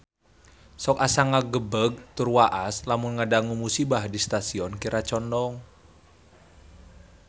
Sok asa ngagebeg tur waas lamun ngadangu musibah di Stasiun Kiara Condong